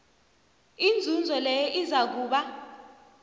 inzuzo leyo izakuba